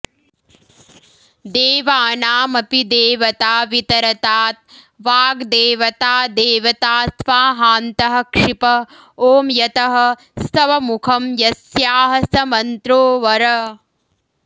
देवानामपि देवता वितरतात् वाग्देवता देवता स्वाहान्तः क्षिप ॐ यतः स्तवमुखं यस्याः स मन्त्रो वर